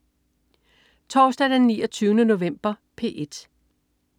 Torsdag den 29. november - P1: